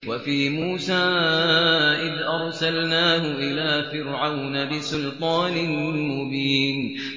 وَفِي مُوسَىٰ إِذْ أَرْسَلْنَاهُ إِلَىٰ فِرْعَوْنَ بِسُلْطَانٍ مُّبِينٍ